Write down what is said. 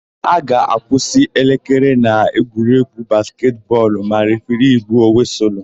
A ga-akwụsị elekere na egwuregwu basketị bọọlu ma refiri gbuo wịsụlụ.